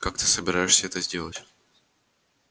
как ты собираешься это сделать